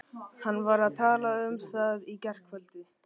Hann var að tala um það í gærkveldi.